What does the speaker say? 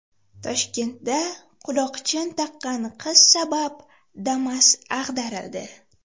Toshkentda quloqchin taqqan qiz sabab Damas ag‘darildi .